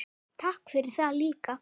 Að vera til staðar.